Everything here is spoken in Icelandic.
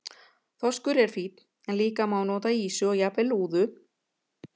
Þorskur er fínn en líka má nota ýsu og jafnvel lúðu.